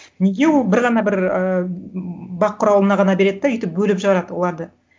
неге ол бір ғана бір ыыы бақ құралына ғана береді де өйтіп бөліп жарады оларды